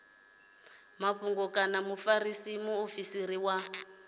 mafhungo kana mufarisa muofisiri wa